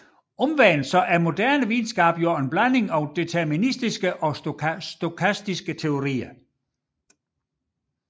Omvendt er moderne videnskab en blanding af deterministiske og stokastiske teorier